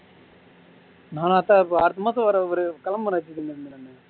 நானும் அதுதான் அடுத்த மாசம் வர ஒரு கிளம்புரேன்